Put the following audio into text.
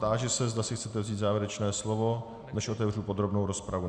Táži se, zda si chcete vzít závěrečné slovo, než otevřu podrobnou rozpravu.